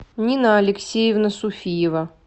нина алексеевна суфиева